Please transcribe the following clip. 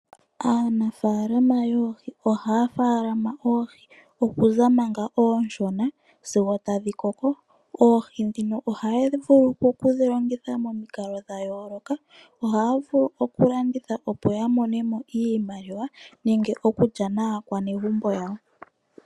Aanafalama yoohi ohaya faalama oohi okuza manga oshona sigo tadhi koko. Oohi dhino ohaya vulu oku dhilongitha momiikalo dha yooloka. Ohaya vulu oku landitha, opo yi imonene mo iimaliwa nenge iikulya naakwanegumbo yawo.